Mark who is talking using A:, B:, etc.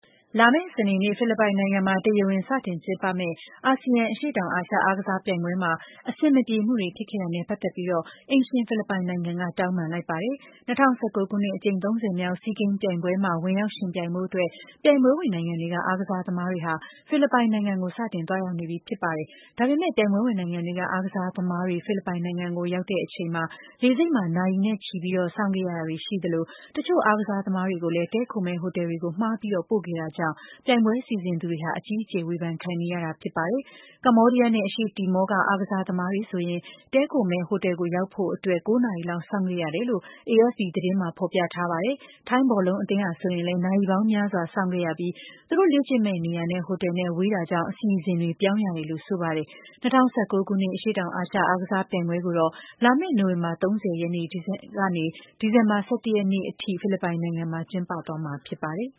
A: လာမယ့် စနေနေ့ကျရင် ဖိလစ်ပိုင်နိုင်ငံမှာ တရားဝင် စတင်ကျင်းပမယ့် အာဆီယံ အရှေ့တောင်အာရှ အားကစားပြိုင်ပွဲမှာ အဆင်မပြေမှုတွေ ဖြစ်ခဲ့တာနဲ့ ပတ်သက်ပြီး အိမ်ရှင် ဖိလစ်ပိုင်နိုင်ငံက တောင်းပန်လိုက်ပါတယ်။ ၂၀၁၉ ခုနှစ် အကြိမ် ၃၀ မြောက် ဆီးဂိမ်းပြိုင်ပွဲမှာ ဝင်ရောက်ယှဉ်ပြိုင်ဖို့အတွက် ပြိုင်ပွဲဝင်နိုင်ငံတွေက အားကစားသမားတွေဟာ ဖိလစ်ပိုင်နိုင်ငံကို စတင်သွားရောက်နေကြပြီ ဖြစ်ပါတယ်။ ဒါပေမယ့် ပြိုင်ပွဲဝင်နိုင်ငံတွေက အားကစားသမားတွေ ဖိလစ်ပိုင်နိုင်ငံကို ရောက်ရှိလာတဲ့အချိန်မှာ အားကစားသမားတွေဟာ လေဆိပ်မှာ နာရီနဲ့ချီပြီး စောင့်ဆိုင်းခဲ့ရတာတွေ ရှိခဲ့သလို တချို့ အားကစားသမားတွေကိုလည်း တည်းခိုမယ့် ဟိုတယ်တွေ မှားပြီးပို့ခဲ့တာကြောင့် ပြိုင်ပွဲစီစဉ်သူတွေဟာ အကြီးအကျယ် ဝေဖန်ခံနေရတာ ဖြစ်ပါတယ်။ ကမ္ဘောဒီးယားနဲ့ အရှေ့တီမောက အားကစားသမားတွေဆိုရင် တည်းခိုမယ့်ဟိုတယ်ကို ရောက်ဖို့အတွက် ၉ နာရီလောက် စောင့်ခဲ့ရတယ်လို့လည်း AFP သတင်းမှာ ဖော်ပြထားပါတယ်။ ထိုင်းဘောလုံးအသင်းဆိုလည်း နာရီပေါင်းများစွာ စောင့်ခဲ့ရပြီး သူတို့လေ့ကျင့်မယ့်နေရာနဲ့ ဟိုတယ်နဲ့ ဝေးတာကြောင့် အစီအစဉ်တွေ ပြောင်းရတယ်လို့ ဆိုပါတယ်။ ၂၀၁၉ ခုနှစ် အရှေ့တောင်အာရှ အားကစားပြိုင်ပွဲကိုတော့ လာမယ့် နိုဝင်ဘာ ၃၀ ရက်နေ့ကနေ ဒီဇင်ဘာလ ၁၁ ရက်နေ့အထိ ဖိလစ်ပိုင်နိုင်ငံမှာ ကျင်းပသွားမှာ ဖြစ်ပါတယ်။